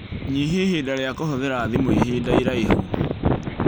Nyihia ihinda rĩa kũhũthĩra thimũ ihinda iraihu